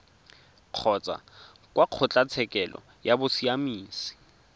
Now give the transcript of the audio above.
kgotsa kwa kgotlatshekelo ya bosiamisi